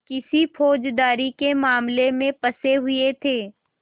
किसी फौजदारी के मामले में फँसे हुए थे